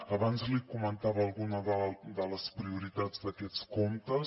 abans li comentava algunes de les prioritats d’aquests comptes